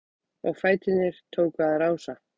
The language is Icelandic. Og fæturnir tóku að rása-